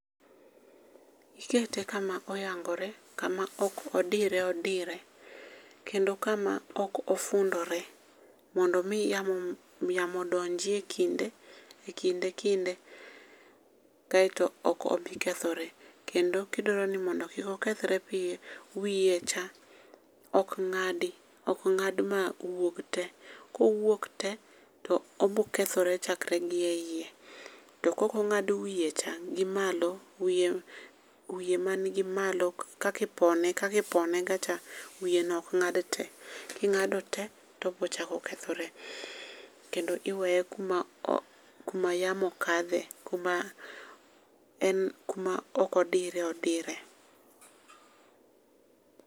Ikete kama oyangore, kama oko odire odire. Kendo kama ok ofundore, mondo omi yamo yamo odonjie kinde ekinde kinde kaeto ok obi kethore. kendo kidwaro ni mondo kik okethre piyo, wiye cha ok ng’adi ok ng'ad mawuog te, kowuok te to obo kethore chakre gi e iye. to kok ong'ad wiye cha gi malo wiye man gi malo kaka ipone kakipone ga cha, wiye no okng'ad te. King'ado te, to obochako kethore kendo iweye kuma yamo kadhe kuma en kuma okodire odire.